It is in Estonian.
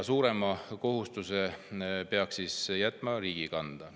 Suurema kohustuse peaks jätma riigi kanda.